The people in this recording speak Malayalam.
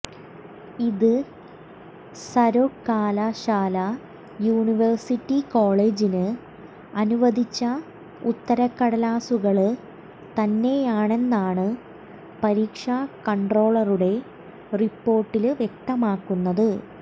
ഇത് സര്വകലാശാല യൂണിവേഴ്സിറ്റി കോളേജിന് അനുവദിച്ച ഉത്തരട്ടലാസുകള് തന്നെയാണെന്നാണ് പരീക്ഷ കണ്ട്രോളറുടെ റിപ്പോര്ട്ടില് വ്യക്തമാക്കുന്നത്